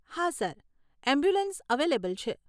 હા sir, ambulance available છે.